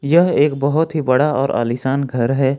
यह एक बहुत ही बड़ा और आलीशान घर है।